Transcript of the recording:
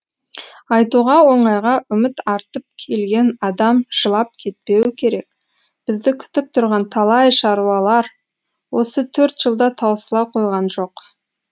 айтуға оңайға үміт артып келген адам жылап кетпеуі керек бізді күтіп тұрған талай шаруалар осы төрт жылда таусыла қойған жоқ